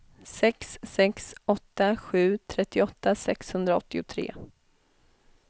sex sex åtta sju trettioåtta sexhundraåttiotre